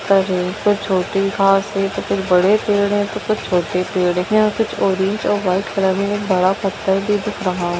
खूब छोटी घास है कुछ बड़े पेड़ हैं कुछ छोटे पेड़ हैं कुछ ऑरेंज और वाइट कलर में बड़ा पत्थर भी दिख रहा है।